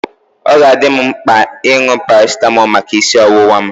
Ọ ga-adị m mkpa ịṅụ parasitamol maka isi ọwụwa m.